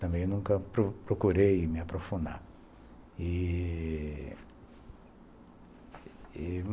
Também nunca pro procurei me aprofundar e... e...